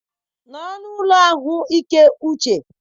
nọrọ n'ụlọ ahụike uche.